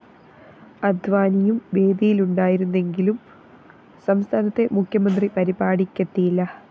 അദ്വാനിയും വേദിയിലുണ്ടായിരുന്നെങ്കിലും സംസ്ഥാനത്തെ മുഖ്യമന്ത്രി പരിപാടിക്കെത്തിയില്ല